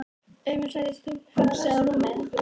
Þetta var að þróast uppí hávaðarifrildi.